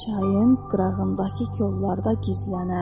Çayın qırağındakı kollarda gizlənəm.